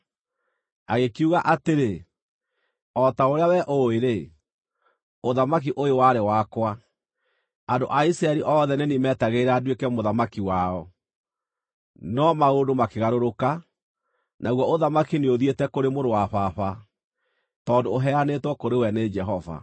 Agĩkiuga atĩrĩ, “O ta ũrĩa wee ũũĩ-rĩ, ũthamaki ũyũ warĩ wakwa. Andũ a Isiraeli othe nĩ niĩ meetagĩrĩra nduĩke mũthamaki wao. No maũndũ makĩgarũrũka, naguo ũthamaki nĩũthiĩte kũrĩ mũrũ wa Baba; tondũ ũheanĩtwo kũrĩ we nĩ Jehova.